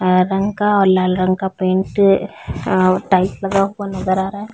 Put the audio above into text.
हरे रंग का और लाल रंग का पेंट अ टाइल्स लगा हुआ नज़र आ रहा है।